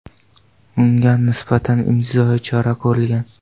Ungan nisbatan intizomiy chora ko‘rilgan.